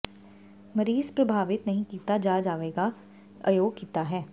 ਮਰੀਜ਼ ਪ੍ਰਭਾਵਿਤ ਨਹੀ ਕੀਤਾ ਜਾ ਜਾਵੇਗਾ ਅਯੋਗ ਕੀਤਾ ਹੈ